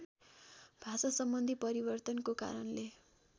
भाषासम्बन्धी परिवर्तनको कारणले